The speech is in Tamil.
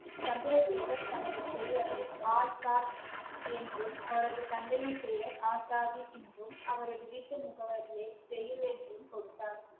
சந்திரசேகர் தனது பெயரை ஆசாத் என்றும் அவரது தந்தையின் பெயர் ஆசாதி என்றும் அவரது வீட்டு முகவரியை ஜெயில் என்றும் கொடுத்தார்